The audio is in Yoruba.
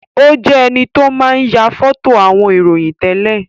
Ó jẹ enito máa ń ya foto àwọn ìròyìn tẹ́lẹ̀